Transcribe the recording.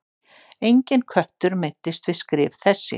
Enginn köttur meiddist við skrif þessi.